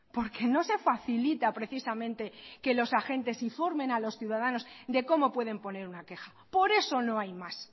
porque no se facilita precisamente que los agentes informen a los ciudadanos de cómo pueden poner una queja por eso no hay más